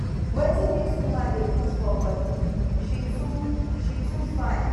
wetin dis woman dey put for body she too she too fine